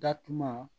Datuguma